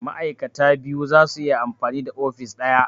Ma'aikata biyu zasu iya amfani da ofis ɗaya